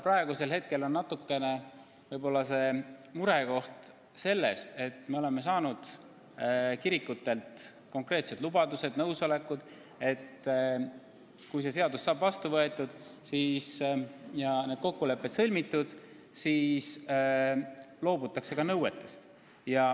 Praegusel hetkel on murekoht vahest see, et me oleme saanud kirikutelt konkreetsed lubadused, nõusoleku, et kui see seadus saab vastu võetud ja need kokkulepped sõlmitud, siis nad loobuvad oma nõuetest.